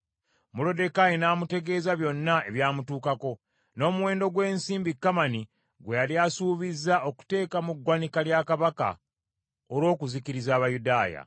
Moluddekaayi n’amutegeeza byonna ebyamutuukako, n’omuwendo gw’ensimbi Kamani gwe yali asuubizza okuteeka mu ggwanika lya Kabaka olw’okuzikiriza Abayudaaya.